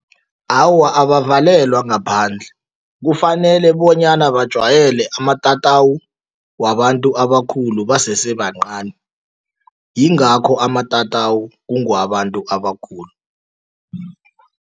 Awa, abavalelwa ngaphandle. Kufanele bonyana bajwayele amatatawu wabantu abakhulu basesebancani, yingakho amatatawu kungewabantu abakhulu.